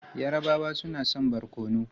Yarabawa suna son barkono.